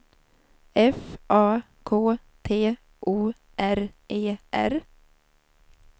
F A K T O R E R